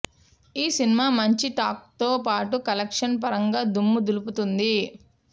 ఈ సినిమా మంచి టాక్తో పాటు కలెక్షన్ల పరంగా దుమ్ము దులుపుతోంది